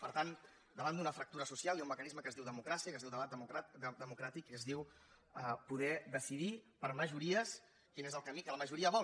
per tant davant d’una fractura social hi ha un mecanisme que es diu democràcia que es diu debat democràtic i que es diu poder decidir per majories quin és el camí que la majoria vol